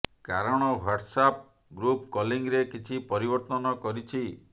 କାରଣ WhatsApp group କଲିଂରେ କିଛି ପରିବର୍ତ୍ତନ କରିଛି